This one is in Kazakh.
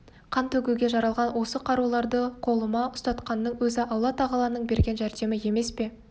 қан төгуге жаралған осы қаруларды қолыма ұстатқанының өзі алла-тағаланың берген жәрдемі емес пе